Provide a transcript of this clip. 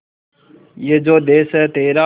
ये जो देस है तेरा